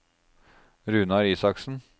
Runar Isaksen